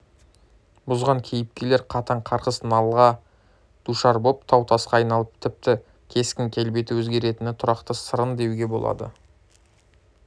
бұзған кейіпкерлер қатаң қарғыс-налаға душар боп тау-тасқа айналып тіпті кескін-келбеті өзгеретіні тұрақты сарын деуге болады